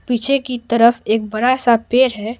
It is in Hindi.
पीछे की तरफ एक बरा सा पैर है।